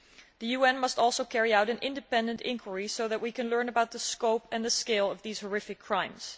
The UN must also carry out an independent inquiry so that we can learn about the scope and the scale of these horrific crimes.